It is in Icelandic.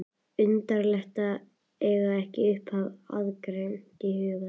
Undarlegt að eiga ekki upphafið aðgreint í huganum.